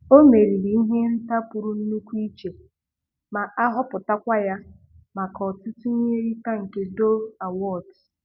Ọ meriri ihe nrite nke pụrụ nnukwu iche ma a họpụtakwa ya maka ọtụtụ ihe nrite nke Dove Awards.